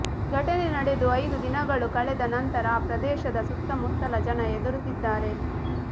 ಘಟನೆ ನಡೆದು ಐದು ದಿನಗಳು ಕಳೆದ ನಂತರ ಆ ಪ್ರದೇಶದ ಸುತ್ತಮುತ್ತಲ ಜನ ಹೆದರುತ್ತಿದ್ದಾರೆ